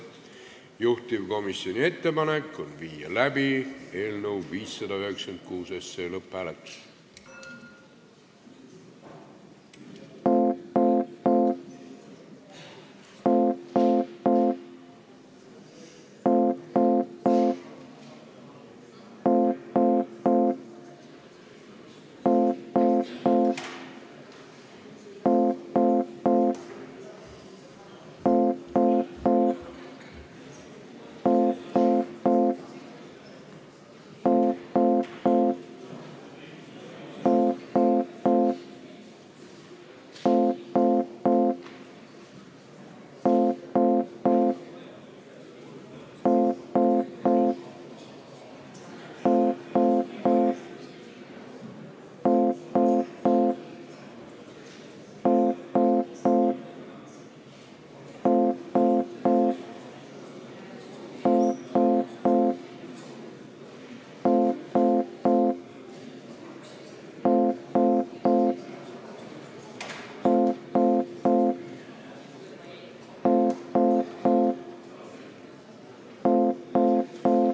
Juhtivkomisjoni ettepanek on viia läbi eelnõu 596 lõpphääletus.